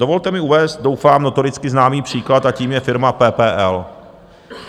Dovolte mi uvést doufám notoricky známý příklad, a tím je firma PPL.